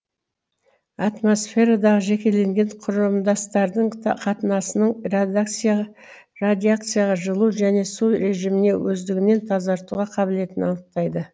атмосферадағы жекелеген құрамдастардың қатынасының радиацияға жылу және су режиміне өздігінен тазартуға қабілетін анықтайды